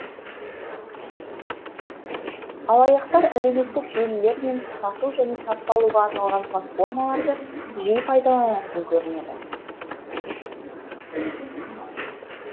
алаяқтар әлеуметтік желілер мен сату және сатып алуға арналған платформаларды жиі пайдаланатын көрінеді